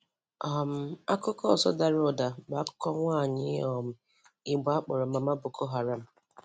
um Akụkọ ọzọ dara ụ̀dà bụ akụkọ nwaanyị um Igbo a kpọrọ Mama Boko Haram.